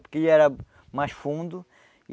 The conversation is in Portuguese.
Porque ele era mais fundo.